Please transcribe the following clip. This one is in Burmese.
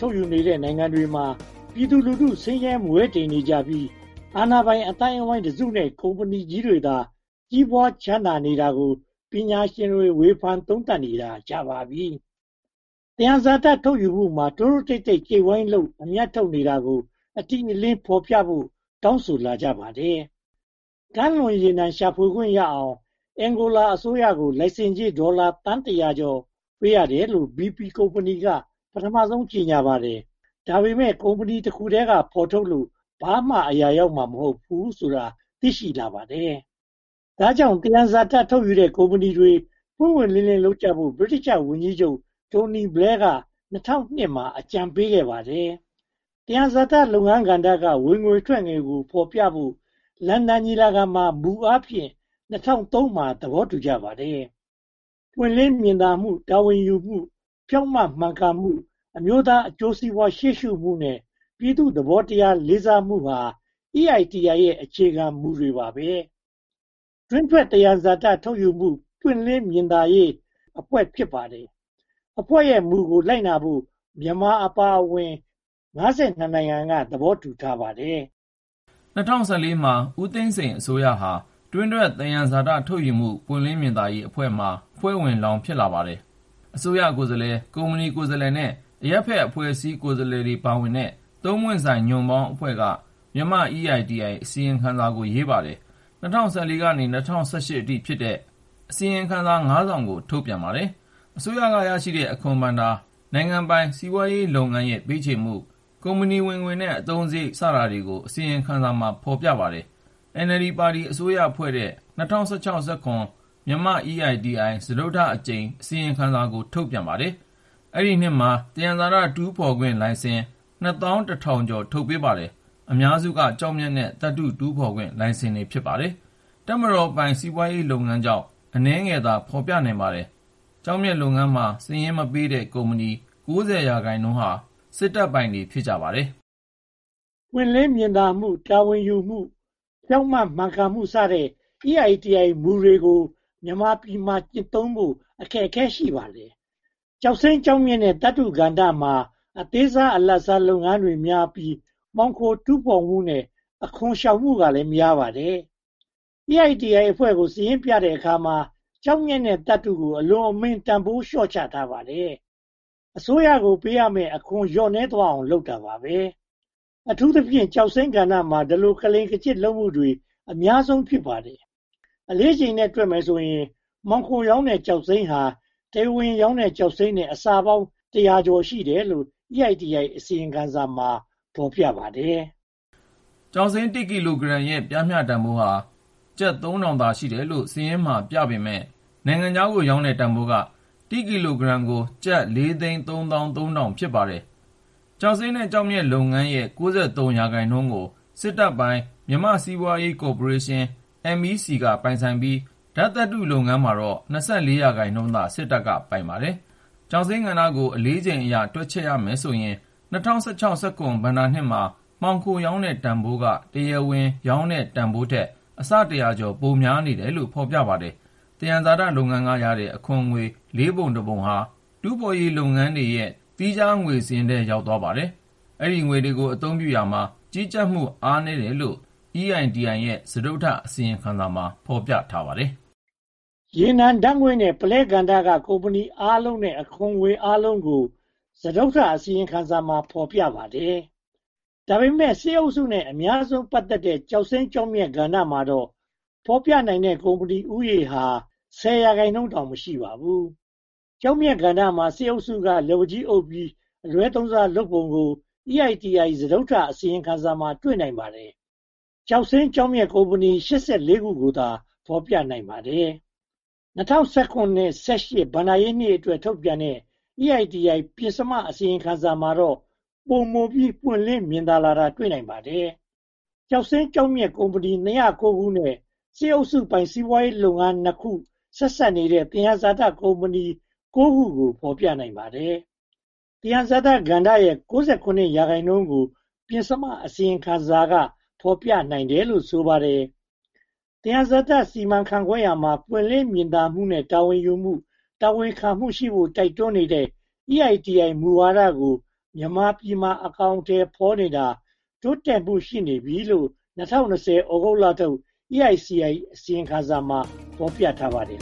ထုတ်ယူနေတဲ့ နိုင်ငံတွေမှာ ပြည်သူလူထု ဆင်းရဲမွဲတေနေကြပြီး အာဏာပိုင်အသိုင်းအဝိုင်းတစုနဲ့ ကုမ္ပဏီကြီးတွေသာ ကြီးပွားချမ်းသာနေတာကို ပညာရှင်တွေ ဝေဖန်နေတာကြာပါပြီ။ သယံဇာတ ထုတ်လုပ်မှုမှာ တိုးတိုးတိတ်တိတ် ကျိုတ်ဝိုင်းလုပ် အမြတ်ထုတ်နေတာကို အတိအလင်း ဖော်ပြဖို့ တောင်းဆိုလာကြပါတယ်။ ကမ်းလွန်ရေနံ ရှာဖွေခွင့်ရအောင် Angola အစိုးရကို လိုင်စင်ကြေး ဒေါ်လာသန်း (၁၀၀) ကျော် ပေးရတယ်လို့ BP ကုမ္ပဏီက ပထမဆုံး ကြေညာပါတယ်။ ဒါပေမဲ့ ကုမ္ပဏီတခုတည်းက ထုတ်ဖော်လို့ ဘာမှ အရာရောက်မှာ မဟုတ်တာကို သိရှိလာပါတယ်။ ဒါကြောင့် သယံဇာတ ထုတ်ယူတဲ့ ကုမ္ပဏီတွေ ပွင့်ပွင့်လင်းလင်း လုပ်ကြဖို့ ဗြိတိသျှဝန်ကြီးချုပ် Tony Blair က ၂၀၀၂ မှာ အကြံပေးခဲ့ပါတယ်။ သယံဇာတ လုပ်ငန်းကဏ္ဍက ဝင်ငွေထွက်ငွေကို ဖော်ပြဖို့ လန်ဒန်ညီလာခံမှာ မူအားဖြင့် ၂၀၁၃ မှာ သဘောတူကြပါတယ်။ ပွင့်လင်းမြင်သာမှု၊ တာဝန်ယူမှု၊ ဖြောင့်မတ်မှန်ကန်မှု၊ အမျိုးသားအကျိုးစီးပွား ရှေ့ရှုမှုနဲ့ ပြည်သူ့သဘောထား လေးစားမှုဟာ EITI ရဲ့ အခြေခံမူတွေပါပဲ။ တွင်းထွက်သယံဇာတ ထုတ်လုပ်မှု ပွင့်လင်းမြင်သာရေး Extractive Industries Transparency Initiative အဖွဲ့ ဖြစ်ပါတယ်။ အဖွဲ့ရဲ့မူကို လိုက်နာဖို့ မြန်မာအပါအဝင် (၅၂) နိုင်ငံက သဘောတူခဲ့ပါတယ်။ ၂၀၁၄ မှာ ဦးသိန်းစိန်အစိုးရဟာ တွင်းထွက်သယံဇာတ ထုတ်လုပ်မှု ပွင့်လင်းမြင်သာရေးအဖွဲ့မှာ အဖွဲ့ဝင်လောင်း ဖြစ်လာပါတယ်။။ အစိုးရကိုယ်စားလှယ်၊ ကုမ္ပဏီကိုယ်စားလှယ်နဲ့ အရပ်ဘက်အဖွဲ့အစည်း ကိုယ်စားလှယ် ပါဝင်တဲ့ သုံးပွင့်ဆိုင်ညွှန်ပေါင်းအဖွဲ့က မြန်မာ EITI အစီရင်ခံစာ ရေးပါတယ်။ ၂၀၁၄ က ၂၀၁၈ အထိဖြစ်တဲ့ အစီရင်ခံစာ (၅) စောင်ကို ထုတ်ပြန်ပါတယ်။ အစိုးရ ရရှိတဲ့ အခွန်ဘဏ္ဍာ၊ နိုင်ငံပိုင်စီးပွားရေး လုပ်ငန်းရဲ့ ပေးချေမှု၊ ကုမ္ပဏီဝင်ငွေနဲ့ အသုံးစရိတ်စတာတွေကို အစီရင်ခံစာမှာ ဖော်ပြပါတယ်။ NLD ပါတီ အစိုးရဖွဲ့တဲ့ ၂၀၁၆-၁၇ မှာ မြန်မာ့ EITI စတုတ္ထအကြိမ် အစီရင်ခံစာကို ထုတ်ပြန်ပါတယ်။ အဲဒီနှစ်မှာ သယံဇာတ တူးဖော်ခွင့်လိုင်စင် (၂၁,၀၀၀) ကျော် ထုတ်ပေးပါတယ်။ အများစုက ကျောက်မျက်နဲ့ သတ္တုတူးဖော်ခွင့်လိုင်စင် ဖြစ်ပါတယ်။ တပ်မတော်ပိုင် စီးပွားရေးလုပ်ငန်းအကြောင်း အနည်းငယ်သာ ဖော်ပြနိုင်ပါတယ်။ ကျောက်မျက်လုပ်ငန်းမှာ စာရင်းမပေးတဲ့ ကုမ္ပဏီ (၉၀)% ဟာ စစ်တပ်ပိုင် ဖြစ်ပါတယ်။ ပွင့်လင်းမြင်သာမှု၊ တာဝန်ယူမှု၊ ဖြောင့်မတ်မှန်ကန်မှု စတဲ့ EITI မူတွေကို မြန်မာပြည်မှာ ကျင့်သုံးဖို့ အခက်အခဲ ရှိပါတယ်။ ကျောက်စိမ်း၊ ကျောက်မျက်နဲ့ သတ္တုကဏ္ဍမှာ အသေးစား၊ အလတ်စား လုပ်ငန်းတွေများပြီး မှော်ခိုတူးဖော်မှုနဲ့ အခွန်ရှောင်မှုကလည်း များပါတယ်။ EITI အဖွဲ့ကို စာရင်းပြတဲ့အခါ ကျောက်မျက်နဲ့သတ္တုတို့ကို အလွန်အမင်း တန်းဖိုးလျော့ချထားပါတယ်။ အစိုးရကို ပေးသွင်းရမယ့် အခွန်လျော့နည်းသွားအောင် လုပ်တာပါပဲ။ အထူးသဖြင့် ကျောက်စိမ်းကဏ္ဍမှာ ဒီလို ကလိမ်ကညစ် လုပ်မှုတွေ အများဆုံး ဖြစ်ပါတယ်။ အလေးချိန်နဲ့ တွက်မယ်ဆိုရင် မှောင်ခိုရောင်းတဲ့ ကျောက်စိမ်းဟာ တရားဝင်ရောင်းတဲ့ ကျောက်စိမ်းထက် အဆပေါင်းတရာကျော် ရှိတယ်လို့ EITI အစီရင်ခံစာမှာ ဖော်ပြပါတယ်။ ကျောက်စိမ်း (၁) ကီလိုဂရမ်ရဲ့ ပျမ်းမျှတန်းဖိုးဟာ ကျပ် (၃၀၀၀) သာ ရှိတယ်လို့ စာရင်းမှာ ပြထားပေမယ့်၊ နိုင်ငံခြားကို ရောင်းတဲ့တန်းဖိုးက (၁) ကီလိုဂရမ်မှာ ကျပ် (၄၃၃,၀၀၀) ဖြစ်ပါတယ်။ ကျောက်စိမ်းနဲ့ ကျောက်မျက်လုပ်ငန်း (၉၃) ရာခိုင်နှုန်းက စစ်တပ်ပိုင် မြန်မာ့စီးပွားရေးကော်ပိုရေးရှင်း MEC က ပိုင်ပြီး၊ ဓါတ်သတ္တုလုပ်ငန်းမှာတော့ (၂၄) ရာခိုင်နှုန်းသာ စစ်တပ်က ပိုင်ပါတယ်။ ကျောက်စိမ်းကဏ္ဍကို အလေးချိန်အရ တွက်ချက်မယ်ဆိုရင် ၂၀၁၆-၁၇ ဘဏ္ဍာနှစ်မှာ မှောင်ခိုရောင်းတဲ့ကဏ္ဍဟာ တရားဝင်ရောင်းတဲ့ တန်းဖိုးထက် အဆ (၁၀၀) ကျော် ပိုများနေတယ်လို့ ဖော်ပြပါတယ်။ သယံဇာတလုပ်ငန်းကရတဲ့ အခွန်ငွေ လေးပုံတစ်ပုံဟာ တူးဖော်ရေးလုပ်ငန်းတွေရဲ့ သီးခြားစာရင်းထဲ ရောက်သွားပါတယ်။ ဒီငွေကို အသုံးပြုရာမှာ ကြီးကြပ်မှုအားနည်းတယ်လို့ EITi စတုတ္ထအစီရင်ခံစာမှာ ဖော်ပြထားပါတယ်။ ရေနံ၊ ဓါတ်ငွေ့နဲ့ ပုလဲကဏ္ဍက ကုမ္ပဏီအားလုံးနဲ့ အခွန်ငွေအားလုံးကို စတုတ္ထအစီရင်ခံစာမှာ ဖော်ပြထားပါတယ်။ ဒါပေမဲ့ စစ်အုပ်စုရဲ့ အများဆုံး ပတ်သက်တဲ့ ကျောက်စိမ်း၊ ကျောက်မျက်ကဏ္ဍမှာတော့ ဖော်ပြနိုင်တဲ့ ကုမ္ပဏီဦးရေဟာ (၁၀) ရာခိုင်နှုန်းတောင် မရှိပါဘူး။ ကျောက်မျက်ကဏ္ဍမှာ စစ်အုပ်စုက လက်ဝါးကြီးအုပ်ပြီး အလွဲသုံးစားလုပ်ပုံကို EITI စတုတ္ထအစီရင်ခံစာမှာ တွေ့နိုင်ပါတယ်။ ကျောက်စိမ်း၊ ကျောက်မျက် ကုမ္ပဏီ (၈၄) ခုကိုသာ ဖော်ပြနိုင်ပါတယ်။ ၂၀၁၇-၁၈ ဘဏ္ဍာရေးနှစ်အတွက် ထုတ်ပြန်တဲ့ EITI ပဉ္စမအစီရင်ခံစာမှာတော့ ပိုမိုပွင့်လင်းလာတာကို တွေ့နိုင်ပါတယ်။ ကျောက်စိမ်း၊ ကျောက်မျက်ကုမ္ပဏီ (၂၀၉) ခုနဲ့ စစ်အုပ်စုပိုင် စီးပွားရေးလုပ်ငန်း (၂) နဲ့ ဆက်စပ်နေတဲ့ သယံဇာတကုမ္ပဏီ (၉) ခုကို ဖော်ပြနိုင်ပါတယ်။ သယံဇာတ စီမံခန့်ခွဲရာမှာ ပွင့်လင်းမြင်သားမှုနဲ့ တာဝန်ယူမှု၊ တာဝန်ခံမှုရှိဖို့ တိုက်တွန်းနေတဲ့ EITI မူဝါဒကို မြန်မာပြည်မှာ အကောင်အထည် ဖော်နေတာ တိုးတက်မှု ရှိနေပြီလို့ ၂၀၂၀ သြဂုတ်လထုတ်၊ EITI အစီရင်ခံစာမှာ ဖော်ပြထားပါတယ်